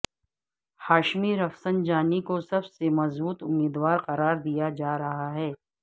Hashmi Rafsanjani کو سب سے مضبوط امیدوار قرار دیا جا رہا ہے